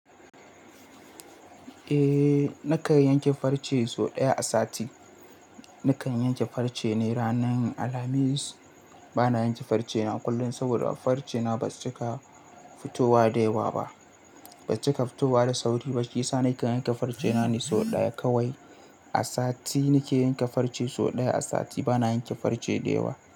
Eh na kan yanke farce sau ɗaya a sati. Na kan yanke farce ne ranar Alhamis. Ba na yanke farce na kullum saboda farce na ba su cika fitowa da yawa ba. Ba su cika fitowa da sauri ba, shiyasa nake yanke farce na ne sau ɗaya kawai a sati. Ni ke yanke farce sau ɗaya a sati. Ba na yanke farce da yawa.